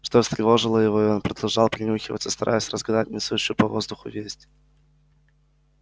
что встревожило его и он продолжал принюхиваться стараясь разгадать несущуюся по воздуху весть